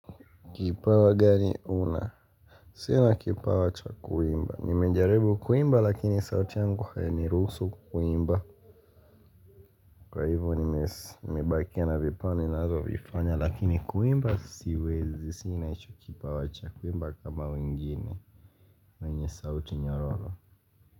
Kipawa gani una? Sina kipawa cha kuimba. Nimejaribu kuimba lakini sauti yangu hainiruhusu kuimba. Kwa hivo nimebakia na vipani ninazo vifanya lakini kuimba siwezi. Sina hicho kipawa cha kuimba kama wengine. Yenye sauti nyororo.